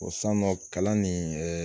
O san nɔ kalan nin ɛɛ